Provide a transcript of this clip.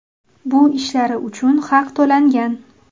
Bu ishlari uchun haq to‘langan.